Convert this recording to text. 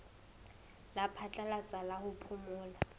la phatlalatsa la ho phomola